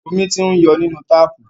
Omi ti ń yọ nínú táàpù.